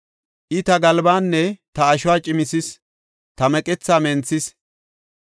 I, ta galbaanne ta ashuwa cimisis; ta meqethaa menthis.